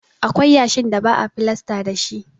Akwai yashin da ba a filasta dashi.